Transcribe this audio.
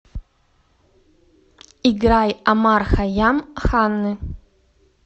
играй омар хайям ханны